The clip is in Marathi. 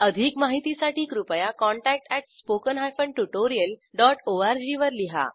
अधिक माहितीसाठी कृपया contact at spoken hyphen tutorial dot ORG वर लिहा